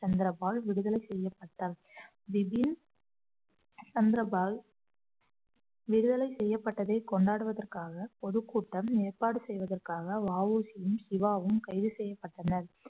சந்திரபால் விடுதல செய்யப்பட்டார் பிபின் சந்திரபால் விடுதலை செய்யப்பட்டதை கொண்டாடுவதற்காக பொதுக்கூட்டம் ஏற்பாடு செய்வதற்காக வ உ சியும் சிவாவும் கைது செய்யப்பட்டனர்